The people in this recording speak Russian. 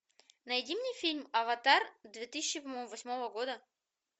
найди мне фильм аватар две тысячи восьмого года